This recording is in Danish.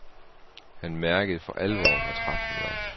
Han mærkede for alvor hvor træt han var.